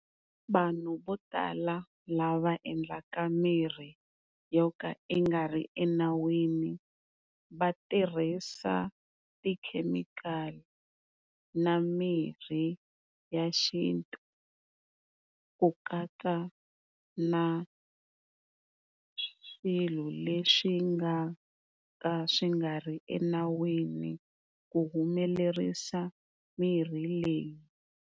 Vanhu vo tala lava endlaka mirhi yo ka yi nga ri enawini va tirhisa ti-chemical-i na mirhi ya xintu ku katsa na swilo leswi nga ka swi nga ri enawini ku humelerisa mirhi leyi.